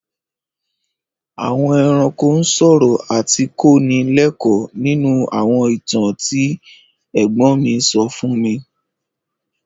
Àwọn ẹranko ń sọ̀rọ̀ àti kọ́ ni lẹ́kọ́ọ̀ nínú àwọn ìtàn tí ẹ̀gbón mi so fún mi.